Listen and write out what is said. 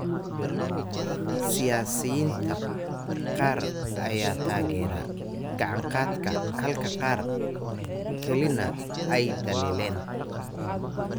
Siyaasiyiinta qaar ayaa taageeray gacan-qaadka, halka qaar kalena ay dhaliileen.